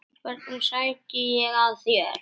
Hvernig sæki ég að þér?